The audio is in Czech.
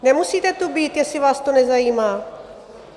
Nemusíte tu být, jestli vás to nezajímá.